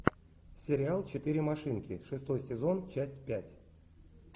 сериал четыре машинки шестой сезон часть пять